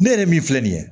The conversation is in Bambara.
Ne yɛrɛ min filɛ nin ye